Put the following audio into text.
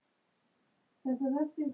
Það sagðir þú okkur oft.